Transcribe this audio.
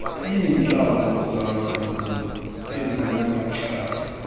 iintlambo zamandulo ezinamacala